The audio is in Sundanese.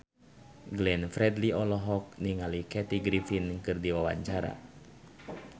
Glenn Fredly olohok ningali Kathy Griffin keur diwawancara